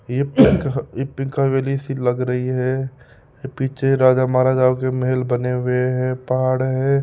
ये पिक ये पिंक सी लग रही है ये पीछे राजा महाराजाओ के महल बने हुए हैं पहाड़ है।